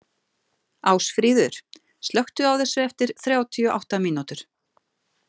Ásfríður, slökktu á þessu eftir þrjátíu og átta mínútur.